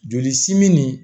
Joli simi nin